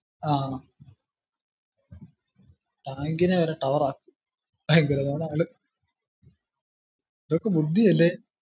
ആഹ് tank ന് വരെ tower ആ ഭയങ്കരമാന ആള് എന്തൊക്കെ ബുദ്ധിയാല്ലേ